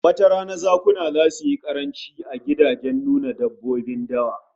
Wata rana zakuna zasu yi karanci a gidajen nuna dabbobin dawa